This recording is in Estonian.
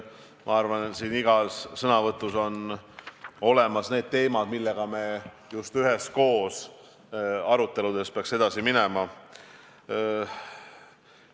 Ma arvan, et igas sõnavõtus olid olemas teemad, millega me just üheskoos aruteludes peaks edasi minema.